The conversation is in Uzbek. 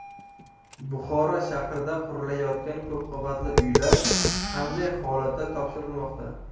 Buxoro shahrida qurilayotgan ko‘p qavatli uylar qanday holatda topshirilmoqda?